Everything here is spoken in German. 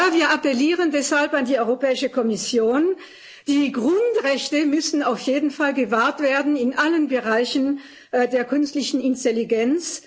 Deshalb appellieren wir an die Europäische Kommission Die Grundrechte müssen auf jeden Fall gewahrt werden in allen Bereichen der künstlichen Intelligenz.